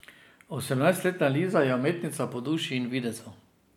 Osemnajstletna Liza je umetnica po duši in videzu.